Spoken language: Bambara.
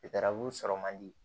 sɔrɔ man di